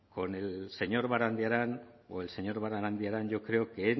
con el señor barandiaran yo creo que